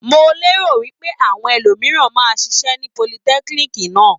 Mo lérò wí pé àwọn ẹlòmìíràn máa ṣiṣẹ́ ní politẹ́kíníìkì náà.